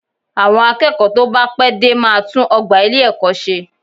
Àwọn akẹ́kọ̀ọ́ tó bá pẹ́ dé máa tún ọgbà ilé-ẹ̀kọ́ ṣe